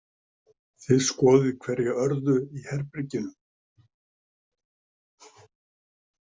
Þið skoðið hverja örðu í herberginu.